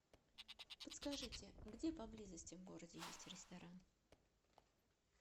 подскажите где поблизости в городе есть ресторан